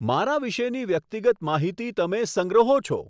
મારા વિશેની વ્યક્તિગત માહિતી તમે સંગ્રહો છો